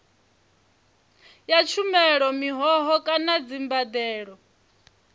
ya tshumelo mihoho kana dzimbadelo